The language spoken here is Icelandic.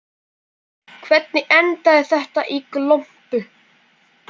Hvernig endaði þetta í glompu?